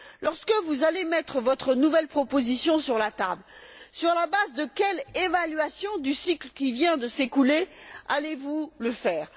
Lorsque vous allez mettre votre nouvelle proposition sur la table, sur la base de quelle évaluation du cycle qui vient de s'écouler allez vous le faire?